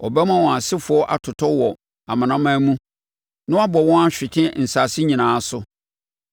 ɔbɛma wɔn asefoɔ atotɔ wɔ amanaman mu na wabɔ wɔn ahwete nsase nyinaa so.